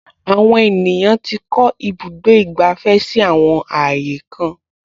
Àwọn ènìyàn tí kọ́ ibùdó ìgbàfẹ́ si àwọn ààyè kan